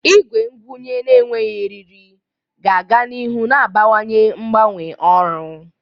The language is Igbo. Igwe ngwunye na-enweghị eriri ga-aga n'ihu na-abawanye mgbanwe ọrụ.